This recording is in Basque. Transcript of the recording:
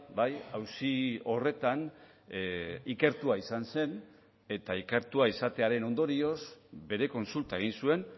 bai auzi horretan ikertua izan zen eta ikertua izatearen ondorioz bere kontsulta egin zuen